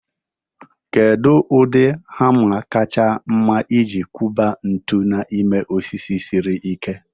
Kedu ụdị hama kacha mma iji kuba ntu n'ime osisi siri ike?